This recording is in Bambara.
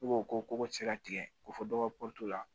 N'o ko ko se ka tigɛ ko fɔ dɔ ka la